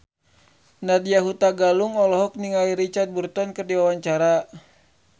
Nadya Hutagalung olohok ningali Richard Burton keur diwawancara